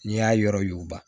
N'i y'a yɔrɔ y'u b